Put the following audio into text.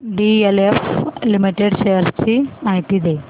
DLF limited shares ची माहिती दे